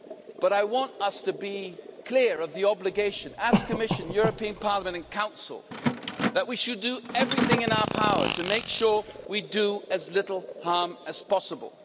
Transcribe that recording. But I want us to be clear about our obligation as the Commission, European Parliament and Council that we should do everything in our power to make sure we do as little harm as possible.